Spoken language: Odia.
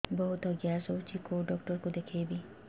ବହୁତ ଗ୍ୟାସ ହଉଛି କୋଉ ଡକ୍ଟର କୁ ଦେଖେଇବି